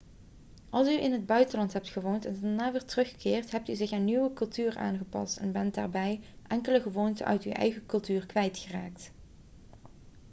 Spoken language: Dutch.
als u in het buitenland hebt gewoond en daarna weer terugkeert hebt u zich aan de nieuwe cultuur aangepast en bent daarbij enkele gewoonten uit uw eigen cultuur kwijtgeraakt